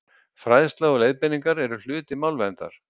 fræðsla og leiðbeiningar eru hluti málverndar